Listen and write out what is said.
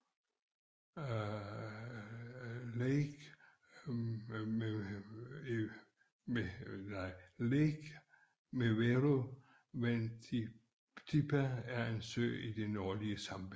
Lake Mweru Wantipa er en sø i det nordlige Zambia